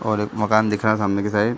और एक मकान दिख रहा है सामने की साइड --